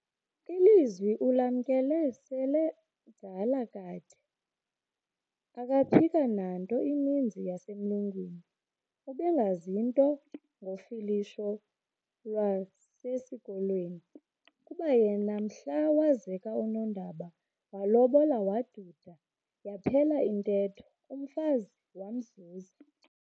Ilizwi ulamkele sele mdala kade, akaphika nanto ininzi yasemlungwini. ubengazi nto ngofilisho lwasesikolweni, kuba yena mhla wazeka uNondaba waalobola, waduda, yaphela intetho, umfazi wamzuza.